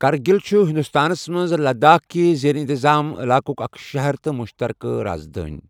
کرگِل چُھ ہندوستانَس منٛز لداخ كہِ زیر انتظام علاقُك اکھ شہر تہٕ مشترکہ رازدٲنۍ ۔